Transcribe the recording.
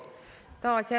Tänan!